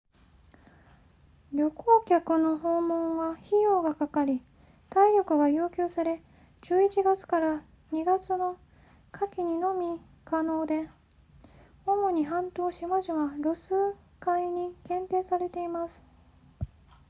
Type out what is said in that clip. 旅行客の訪問は費用がかかり体力が要求され11月 ～2 月の夏季にのみ可能で主に半島島々ロス海に限定されています